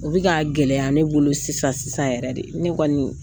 U bɛ ka gɛlɛya ne bolo sisan sisan yɛrɛ de ne kɔni